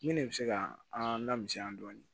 Min ne bɛ se ka an lamisan dɔɔnin